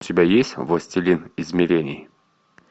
у тебя есть властелин измерений